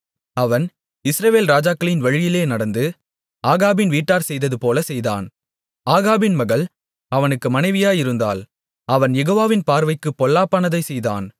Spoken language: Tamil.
அவன் இஸ்ரவேல் ராஜாக்களின் வழியிலே நடந்து ஆகாபின் வீட்டார் செய்ததுபோலச் செய்தான் ஆகாபின் மகள் அவனுக்கு மனைவியாயிருந்தாள் அவன் யெகோவாவின் பார்வைக்குப் பொல்லாப்பானதைச் செய்தான்